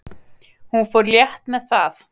Hún fór létt með það.